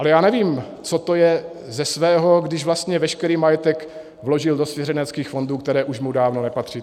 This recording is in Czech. Ale já nevím, co to je ze svého, když vlastně veškerý majetek vložil do svěřenských fondů, které už mu dávno nepatří.